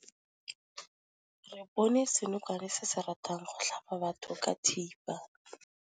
Re bone senokwane se se ratang go tlhaba batho ka thipa.